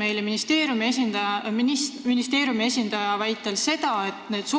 Ministeeriumi esindaja väitis meile, et edaspidi 1 + 1